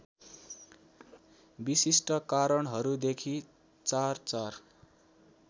विशिष्ट कारणहरूदेखि चारचार